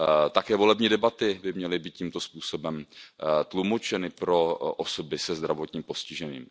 Také volební debaty by měly být tímto způsobem tlumočeny pro osoby se zdravotním postižením.